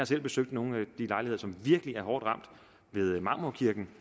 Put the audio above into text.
selv besøgt nogle af de lejligheder som virkelig er hårdt ramt ved marmorkirken